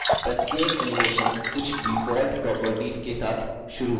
प्रत्येक animation कुछ default properties के साथ शुरू होता है